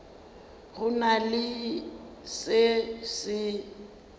go na le se se